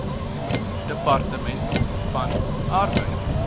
departement van arbeid